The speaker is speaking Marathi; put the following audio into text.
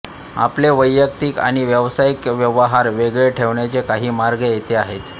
आपले वैयक्तिक आणि व्यवसायिक व्यवहार वेगळे ठेवण्याचे काही मार्ग येथे आहेत